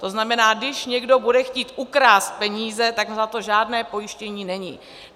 To znamená, když někdo bude chtít ukrást peníze, tak na to žádné pojištění není.